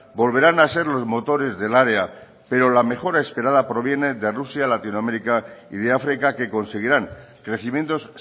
volverán a ser los motores del área pero la mejora esperada proviene de rusia latinoamérica y de áfrica que conseguirán crecimientos